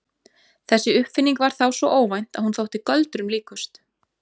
Þessi uppfinning var þá svo óvænt að hún þótti göldrum líkust.